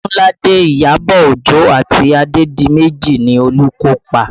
Odunlade, Iyabọ̀ Ojo àti Lati Adedimeji ni olùkópa